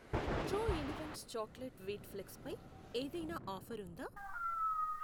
True elements chocolate wheat flakes పై ఏదైనా offer ఉందా?